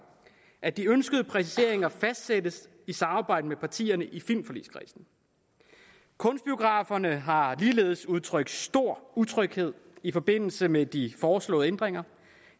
at de ønskede præciseringer fastsættes i samarbejde med partierne i filmforligskredsen kunstbiograferne har ligeledes udtrykt stor utryghed i forbindelse med de foreslåede ændringer